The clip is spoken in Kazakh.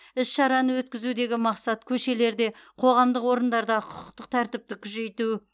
іс шараны өткізудегі мақсат көшелерде қоғамдық орындарда құқықтық тәртіпті күжейту